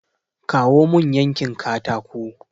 Kawo mun yankin katako!